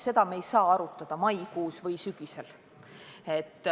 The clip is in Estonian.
Seda me ei saa arutada maikuus või sügisel.